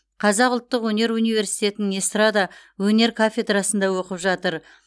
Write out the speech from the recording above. қазақ ұлттық өнер университетінің эстрада өнер кафедрасында оқып жатыр